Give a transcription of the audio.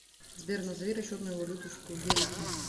сбер назови расчетную валюту в кувейте